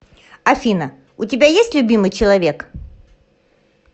афина у тебя есть любимый человек